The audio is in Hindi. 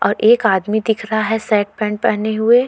और एक आदमी दिख रहा है सर्ट पैंट पहने हुए।